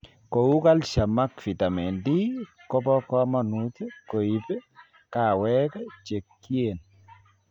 Kouu calcium ak nitamin D kobo kamanut koib kaweek chekieen